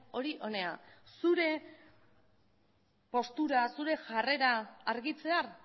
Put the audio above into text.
hori hona zure postura zure jarrera argitzear